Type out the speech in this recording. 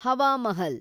Hawa Mahal